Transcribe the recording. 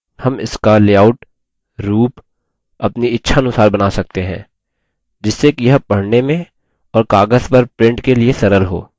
हम इसका लेआउट रूप अपनी इच्छानुसार बना सकते हैं जिससे कि यह पढने में और कागज़ पर print के लिए सरल हो